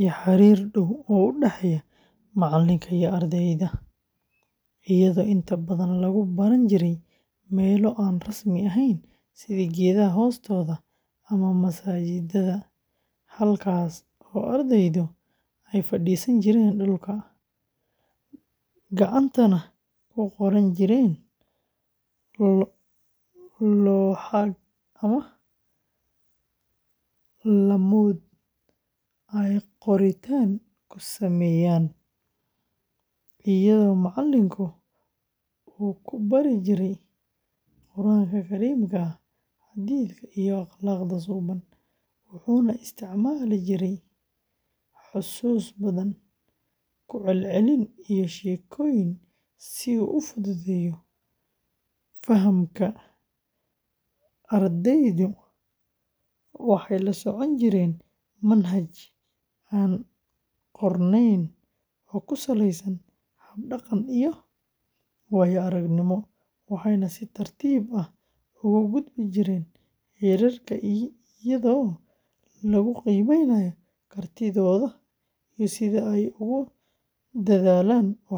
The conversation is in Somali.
iyo xiriir dhow oo u dhexeeya macallinka iyo ardayga, iyadoo inta badan lagu baran jiray meelo aan rasmi ahayn sida geedaha hoostooda ama masaajidda, halkaas oo ardaydu ay fadhiisan jireen dhulka, gacantana ku qoran jireen looxaag ama laamood ay qoritaan ku sameeyaan, iyadoo macallinku uu ku barin jiray Qur'aanka Kariimka ah, xadiithka, iyo akhlaaqda suuban, wuxuuna isticmaali jiray xusuus badan, ku celcelin, iyo sheekooyin si uu u fududeeyo fahamka; ardaydu waxay la socon jireen manhaj aan qornayn oo ku salaysan hab-dhaqan iyo waayo-aragnimo, waxayna si tartiib ah uga gudbi jireen heerarka iyadoo lagu qiimeynayo kartidooda iyo sida ay ugu dadaalaan waxbarashada.